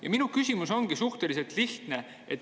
Ja minu küsimus ongi suhteliselt lihtne.